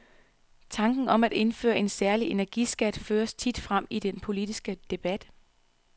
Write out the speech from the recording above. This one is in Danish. Tanken om at indføre en særlig energiskat føres tit frem i den politiske debat.